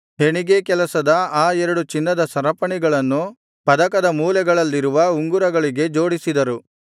ಹೆಣಿಗೇಕೆಲಸದ ಆ ಎರಡು ಚಿನ್ನದ ಸರಪಣಿಗಳನ್ನು ಪದಕದ ಮೂಲೆಗಳಲ್ಲಿರುವ ಉಂಗುರಗಳಿಗೆ ಜೋಡಿಸಿದರು